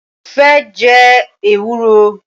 Mo fẹ́ jẹ ewúro